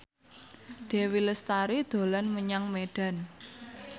Dewi Lestari dolan menyang Medan